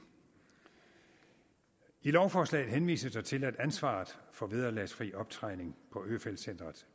i lovforslaget henvises der til at ansvaret for vederlagsfri optræning på øfeldt centret